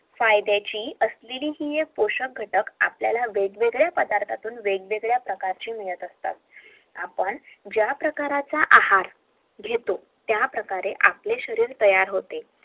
फायद्याची एक गोष्ट होय आपल्याला वेगवेगळ्या पदार्थतून वेगवेगड्या माहिती मिळत असतात